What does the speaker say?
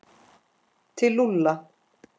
Til Lúlla?